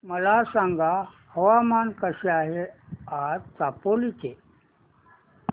मला सांगा हवामान कसे आहे आज चामोली चे